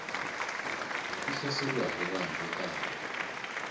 yi hlaleriwa hi vanhu vo tala